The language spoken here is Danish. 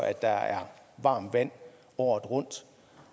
at der er varmt vand året rundt